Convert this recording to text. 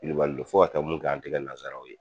Wilibali don fo ka taa mun kɛ an tɛ kɛ nansaraw ye.